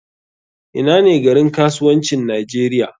Ina ne garin kasuwancin nigeria?